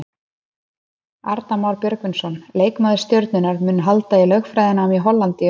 Arnar Már Björgvinsson, leikmaður Stjörnunnar, mun halda í lögfræðinám í Hollandi í haust.